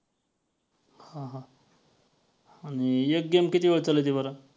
हां हां आणि एक game किती वेळ चालती बरं.